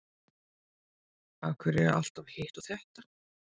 Af hverju alltaf hitt og þetta?